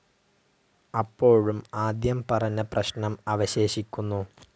അപ്പോഴും ആദ്യം പറഞ്ഞ പ്രശ്നം അവശേഷിക്കുന്നു.